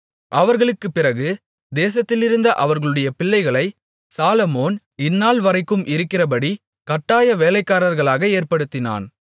அவர்களுக்குப்பிறகு தேசத்திலிருந்த அவர்களுடைய பிள்ளைகளை சாலொமோன் இந்நாள்வரைக்கும் இருக்கிறபடி கட்டாய வேலைக்காரர்களாக ஏற்படுத்தினான்